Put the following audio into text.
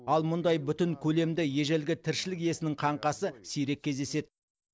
ал мұндай бүтін көлемді ежелгі тіршілік иесінің қаңқасы сирек кездеседі